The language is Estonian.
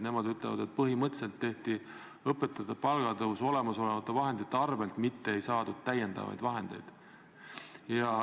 Nemad ütlevad, et põhimõtteliselt tehti õpetajate palga tõus olemasolevate vahendite arvel, mitte ei saadud täiendavaid vahendeid.